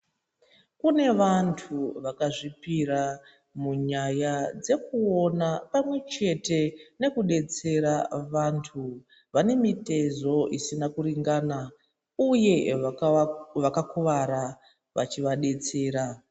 Kune vantu vakazvipira munyaya dzekuona pamwechete nekudetsera vantu vane mitezo isina kuringana uye vakakuvara vachivadetsera.